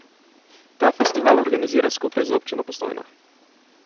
Ta festival organizira skupaj z Občino Postojna.